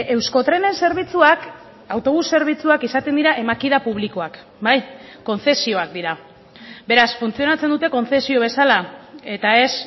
euskotrenen zerbitzuak autobus zerbitzuak izaten dira emakida publikoak bai kontzesioak dira beraz funtzionatzen dute kontzesio bezala eta ez